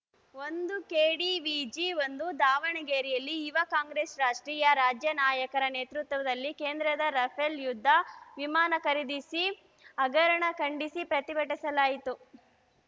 ಒಂದು ಕೆಡಿವಿಜಿ ಒಂದು ದಾವಣಗೆರೆಯಲ್ಲಿ ಯುವ ಕಾಂಗ್ರೆಸ್‌ ರಾಷ್ಟ್ರೀಯ ರಾಜ್ಯ ನಾಯಕರ ನೇತೃತ್ವದಲ್ಲಿ ಕೇಂದ್ರದ ರಫೇಲ್‌ ಯುದ್ಧ ವಿಮಾನ ಖರೀದಿ ಹಗರಣ ಖಂಡಿಸಿ ಪ್ರತಿಭಟಿಸಲಾಯಿತು